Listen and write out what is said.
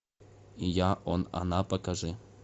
я он она покажи